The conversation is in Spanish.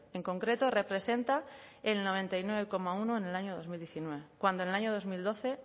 en concreto representa el noventa y nueve coma uno en el año dos mil diecinueve cuando en el año dos mil doce